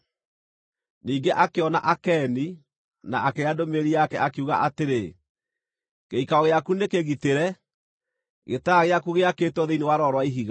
Ningĩ akĩona Akeni, na akĩaria ndũmĩrĩri yake, akiuga atĩrĩ: “Gĩikaro gĩaku nĩ kĩgitĩre, gĩtara gĩaku gĩakĩtwo thĩinĩ wa rwaro rwa ihiga;